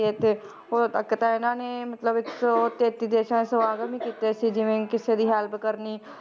ਉਦੋਂ ਤੱਕ ਤਾਂ ਇਹਨਾਂ ਨੇ ਮਤਲਬ ਇੱਕ ਸੌ ਤੇਤੀ ਦੇਸਾਂ 'ਚ ਸਮਾਗਮ ਹੀ ਕੀਤੇ ਸੀ, ਜਿਵੇਂ ਕਿਸੇ ਦੀ help ਕਰਨੀ